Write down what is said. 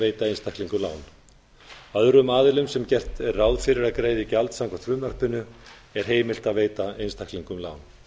veita einstaklingum lán öðrum aðilum sem gert er ráð fyrir að greiði gjald samkvæmt frumvarpinu er heimilt að veita einstaklingum lán